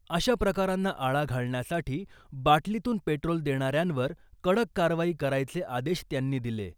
अशा प्रकारांना आळा घालण्यासाठी , बाटलीतून पेट्रोल देणाऱ्यांवर कडक कारवाई करायचे आदेश त्यांनी दिले .